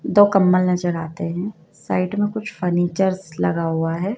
दो कंबल नजर आते हैं साइड में कुछ फर्नीचर्स लगा हुआ है।